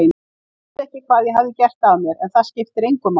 Ég vissi ekki hvað ég hafði gert af mér en það skiptir engu máli.